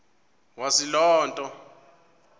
wazi loo nto